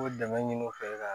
O dɛmɛ ɲini u fɛ ka